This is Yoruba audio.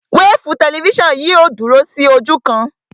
Wéèfù tẹlifísàn yìí ò dúró sí ojú kan